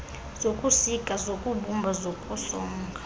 zokusika zokubumba zokusonga